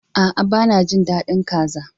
A'a, ba na jin dadin kaza.